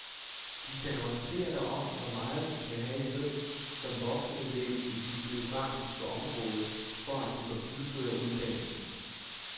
De kan orientere dig om hvor meget du skal have i løn som voksenelev i dit geografiske område, for at du kan fuldføre uddannelsen.